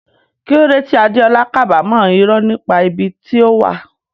Kí ló dé tí Adeola kábàámọ̀ irọ́ nípa ibi tí ó wà?